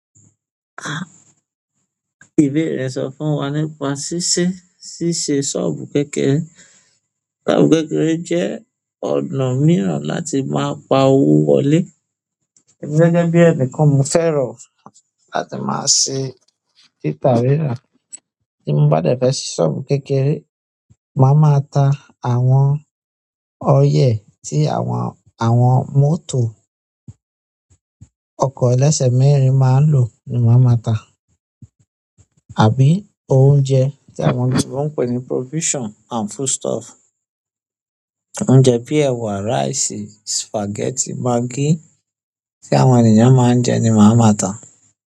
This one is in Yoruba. Ìbéèrè sọ fún wa nípa ṣíṣe ṣọọbu kékeré. Ṣọ́ọ̀bù kékeré jẹ́ ọ̀nà mìíràn láti máa pa owó wọlé. Gẹ́gẹ́ bí ẹnìkan mo fẹ́ rọ̀ láti máa ṣe títà rírà. Ti mo bá dẹ fẹ ṣi sọọbu kékeré máà máa ta àwọn oil ti àwọn mọ́tò ọkọ ẹlẹsẹ mẹ́rin máa n lo ní máa máa ta àbí oúnjẹ tí àwọn oloyinbo pè ní provision. And food stuff. Oúnjẹ bíi ẹ̀wà, rice, spaghetti, maggi tí àwọn ènìyàn máa ń jẹ ni màá máa ta.